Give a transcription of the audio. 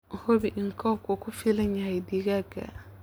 Hubi in coopku uu ku filan yahay digaagga.